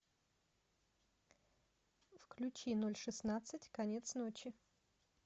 включи ноль шестнадцать конец ночи